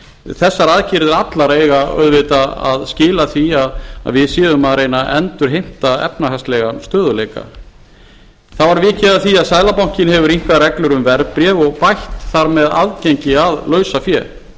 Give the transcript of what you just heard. þessar aðgerðir allar eiga auðvitað að skila því að við séum að reyna að endurheimta efnahagslegan stöðugleika það var vikið að því að seðlabankinn hefur rýmkað reglur um verðbréf og bætt þar með aðgengi að lausafé